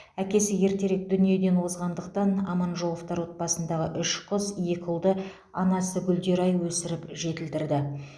әкесі ертерек дүниеден озғандықтан аманжоловтар отбасындағы үш қыз екі ұлды анасы гүлдерай өсіріп жетілдірді